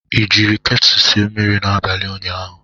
Ị jiri ketu sie mmiri n'abalị ụnyaahụ?